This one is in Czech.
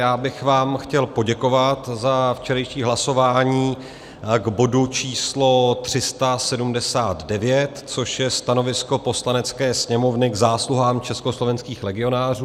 Já bych vám chtěl poděkovat za včerejší hlasování k bodu č. 379, což je stanovisko Poslanecké sněmovny k zásluhám československých legionářů.